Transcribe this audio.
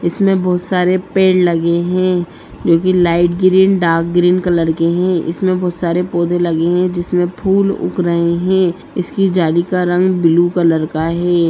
इसमें बहुत सारे पेड़ लगे हैं जो कि light green dark green colour के हैं इसमें बहुत सारे पौधे लगे हैं जिसमें फूल उग रहे हैं इसकी जाली का रंग ब्लू कलर का हैं।